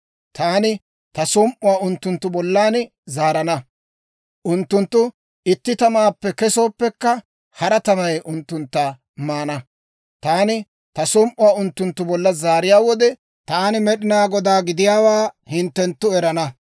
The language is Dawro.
Taani ta som"uwaa unttunttu bollan zaarana. Unttunttu itti tamaappe kesooppekka, hara tamay unttuntta maana. Taani ta som"uwaa unttunttu bolla zaariyaa wode, taani Med'inaa Godaa gidiyaawaa hinttenttu erana.